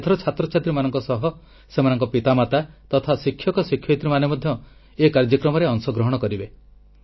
ଏଥର ଛାତ୍ରଛାତ୍ରୀମାନଙ୍କ ସହ ସେମାନଙ୍କ ପିତାମାତା ତଥା ଶିକ୍ଷକଶିକ୍ଷୟିତ୍ରୀମାନେ ମଧ୍ୟ ଏହି କାର୍ଯ୍ୟକ୍ରମରେ ଅଂଶଗ୍ରହଣ କରିବେ